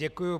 Děkuji.